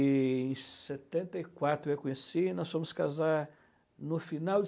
Em setenta e quatro eu a conheci e nós fomos casar no final de